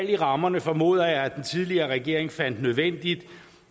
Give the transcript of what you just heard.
i rammerne formoder jeg at den tidligere regering fandt nødvendig